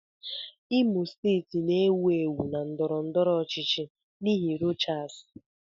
Imo steeti na-ewu ewu na ndọrọ ndọrọ ọchịchị n'ihi Rochas.